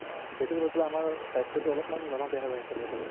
আ সেইটো হয় পেলাই আমাৰ স্বাস্থ্যতো অলপমান ধৰা বেয়া হয় আছে বৰ্তমান